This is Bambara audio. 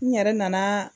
N yɛrɛ nana